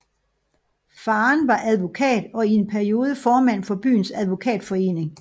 Faren var advokat og i en periode formand for byens advokatforening